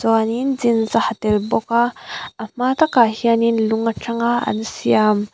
chuanin jeans a ha tel bawk a a hma takah hianin lung atanga an siam--